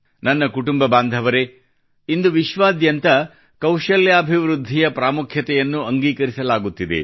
ನನ್ನ ಕುಟುಂಬ ಬಾಂಧವರೇ ಇಂದು ವಿಶ್ವಾದ್ಯಂತ ಕೌಶಲ್ಯಾಭಿವೃದ್ಧಿಯ ಪ್ರಾಮುಖ್ಯತೆಯನ್ನು ಅಂಗೀಕರಿಸಲಾಗುತ್ತಿದೆ